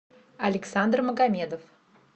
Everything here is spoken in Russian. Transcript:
александр магомедов